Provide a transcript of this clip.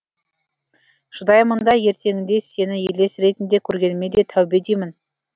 шыдаймын да ертеңінде сені елес ретінде көргеніме де тәубе деймін